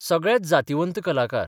सगळेच जातिवंत कलाकार.